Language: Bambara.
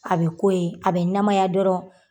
A be k'o ye, a bɛ namaya dɔrɔn